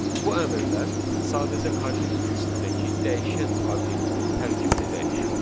Bu əmrlər sadəcə kortejin içindəki dəyişən obyektin tərkibini dəyişir.